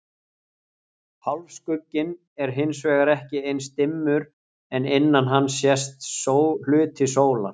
Hálfskugginn er hins vegar ekki eins dimmur en innan hans sést hluti sólar.